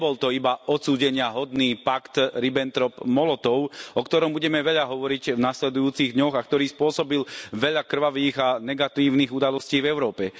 Nebol to iba odsúdeniahodný pakt Ribbentrop Molotov, o ktorom budeme veľa hovoriť v nasledujúcich dňoch, a ktorý spôsobil veľa krvavých a negatívnych udalostí v Európe.